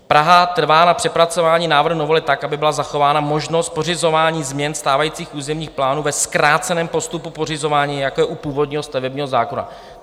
Praha trvá na přepracování návrhu novely tak, aby byla zachována možnost pořizování změn stávajících územních plánů ve zkráceném postupu pořizování, jako je u původního stavebního zákona.